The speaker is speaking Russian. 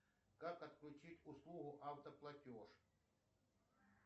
как отключить услугу автоплатеж